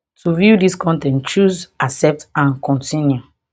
to view dis con ten t choose accept and continue